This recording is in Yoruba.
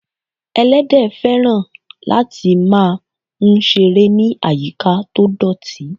Ẹlẹ́dẹ̀ féràn lati máà ń seré ni ayika to dọ̀tí